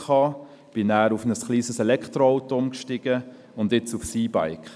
Dann bin ich auf ein kleines Elektroauto umgestiegen, und jetzt aufs E-Bike.